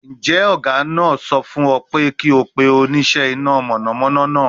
Njẹ ọga naa sọ fun ọ pe ki o pe onisẹ ina mọnamọna naa?